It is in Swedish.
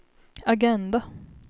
agenda